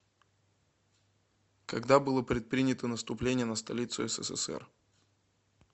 когда было предпринято наступление на столицу ссср